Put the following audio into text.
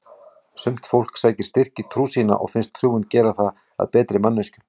Sumt fólk sækir styrk í trú sína og finnst trúin gera það að betri manneskjum.